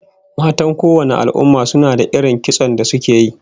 Matan kowanne al'umma suna da irin kitson da suke yi